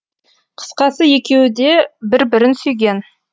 қысқасы екеуі де бір бірін сүйген